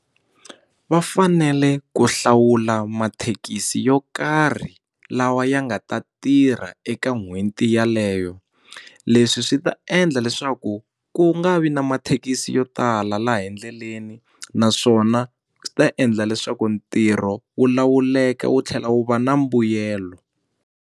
Va fanele ku hlawula mathekisi yo karhi lawa ya nga ta tirha eka n'hweti yeleyo leswi swi ta endla leswaku ku nga vi na mathekisi yo tala laha endleleni naswona swi ta endla leswaku ntirho wu lawuleka wu tlhela wu va na mbuyelo.